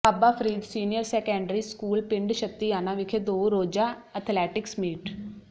ਬਾਬਾ Farid senior secondary school ਪਿੰਡ ਛੱਤਿਆਣਾ ਵਿਖੇ ਦੋ ਰੋਜ਼ਾ ਅਥਲੈਟਿਕਸ ਮੀਟ